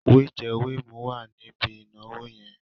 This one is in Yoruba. Wẹ̀jẹ́ wẹ̀mu wà níbi ìnáwó yẹn.